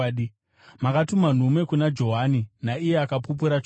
“Makatuma nhume kuna Johani naiye akapupurira chokwadi.